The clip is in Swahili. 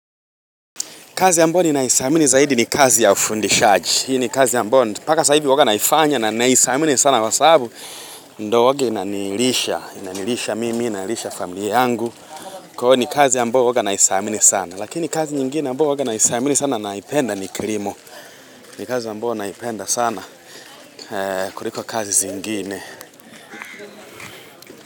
Kazi ambayo ninaidhamini zaidi ni kazi ya ufundishaji. Hii ni kazi ambayo. Paka sahivi huwaga naifanya na naidhamini sana kwa sababu. Ndio huwaga inanilisha. Inanilisha mimi, inalisha familia yangu. Kwa hio ni kazi ambayo huwaga naidhamini sana. Lakini kazi nyingine ambayo naidhamini sana naipenda ni kilimo. Kazi ambao naipenda sana. Kuliko kazi zingine.